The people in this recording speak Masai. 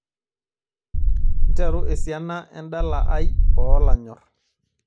nteru esiana endala ai oo lanyor